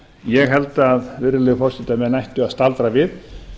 ég held virðulegi forseti að menn ættu að staldra við